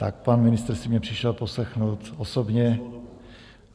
Tak pan ministr si mě přišel poslechnout osobně